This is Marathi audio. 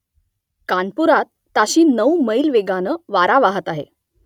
कानपुरात ताशी नऊ मैल वेगानं वारा वाहत आहे